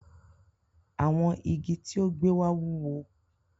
Awọn ígí́ tí ó gbẹ wá wúwò.